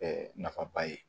nafaba ye